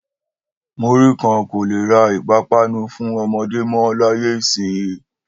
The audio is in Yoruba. Múrí kan kò le ra ìpápanú fún ọmọdé mọ́ láyé ìsinyìí